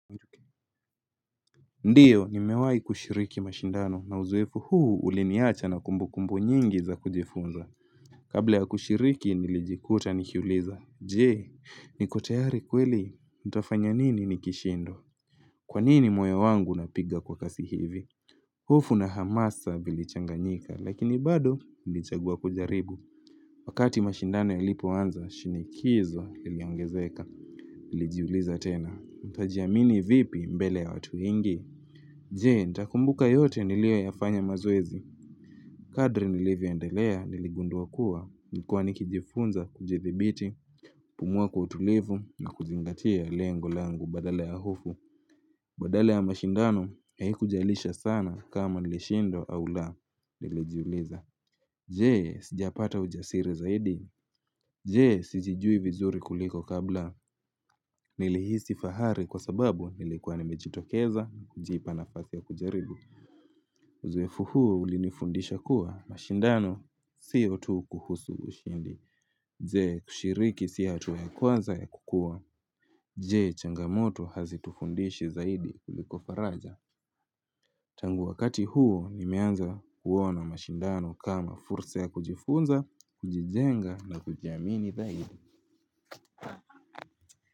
Ndiyo nimewai kushiriki mashindano na uzoefu huu uliniacha na kumbu kumbu nyingi za kujifunza Kabla ya kushiriki nilijikuta nikiuliza Jee niko tayari kweli nitafanya nini nikishindwa Kwanini moyo wangu unapiga kwa kasi hivi hofu na hamasa vilichanganyika lakini bado nilichagua kujaribu Wakati mashindano ya lipo anza shinikizo liliongezeka Nilijiuliza tena nitajiamini vipi mbele ya watu wengi Jee, nitakumbuka yote niliyo yafanya mazoezi. Kadri nilivyo endelea niligunduwa kuwa, nilikuwa nikijifunza kujithibiti, pumua kwa utulivu na kuzingatia lengo langu badala ya hofu. Badala ya mashindano, haiku jalisha sana kama nilishindwa au la, nilijiuliza. Jee, sijapata ujasiri zaidi. Jee, sijijui vizuri kuliko kabla, nili hisi fahari kwa sababu nilikuwa nimejitokeza, jipa nafasi ya kujaribu. Uzoefu huo ulinifundisha kuwa mashindano siyo tu kuhusu ushindi, je kushiriki si hatua ya kwanza ya kukua. Je changamoto hazitufundishi zaidi kuliko faraja. Tangu wakati huo nimeanza kuona mashindano kama fursa ya kujifunza, kujijenga na kujiamini dhairi.